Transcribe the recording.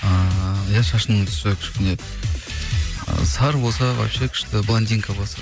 ыыы иә шашының түсі кішкене ы сары болса вообще күшті блондинка болса